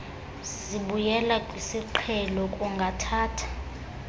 zibuyela kwisiqhelo kungathatha